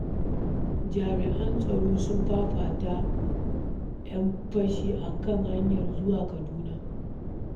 Jami'an tsaro sun fatattaki 'yan fashi a kan hanyar zuwa Kaduna